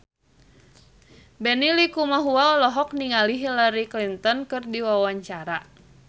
Benny Likumahua olohok ningali Hillary Clinton keur diwawancara